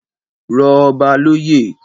Rọ ọba loyè